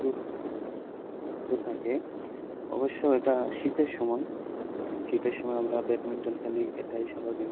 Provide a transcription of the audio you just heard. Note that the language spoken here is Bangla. সুস্থ থাকে অবশ্য এটা শীতের সময় শীতের সময় আমরা badminton খেলি এটাই স্বাভাবিক